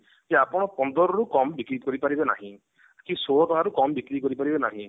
କି ଆପଣ ପନ୍ଦର ରୁ କମ ବିକ୍ରି କରି ପାରିବେ ନାହିଁ କି ଷୋଳ ଟଙ୍କାରୁ କମ ବିକ୍ରି କରି ପାରିବେ ନାହିଁ